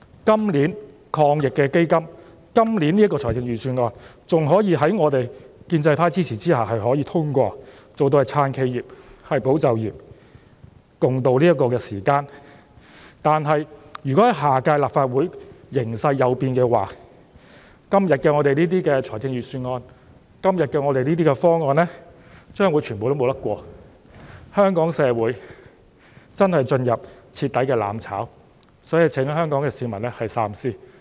今年的防疫抗疫基金和預算案還可以在我們建制派支持之下通過，做到"撐企業，保就業"，共渡時艱，但如果下屆立法會形勢有變，今天的預算案和方案將全部無法通過，香港社會便真的進入徹底"攬炒"，所以請香港市民三思。